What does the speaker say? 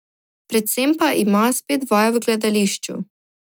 Predvsem pa ima spet vaje v gledališču.